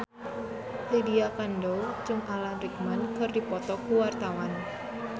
Lydia Kandou jeung Alan Rickman keur dipoto ku wartawan